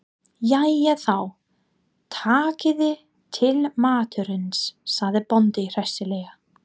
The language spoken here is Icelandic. Jæja þá, takiði til matarins, sagði bóndi hressilega.